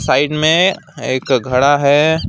Side में एक घड़ा है।